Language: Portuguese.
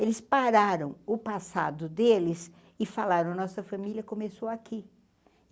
Eles pararam o passado deles e falaram que a nossa família começou aqui.